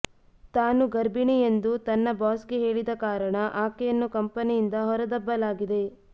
ತಾನು ಗರ್ಭಿಣಿ ಎಂದು ತನ್ನ ಬಾಸ್ ಗೆ ಹೇಳಿದ ಕಾರಣ ಆಕೆಯನ್ನು ಕಂಪನಿಯಿಂದ ಹೊರ ದಬ್ಬಲಾಗಿದೆ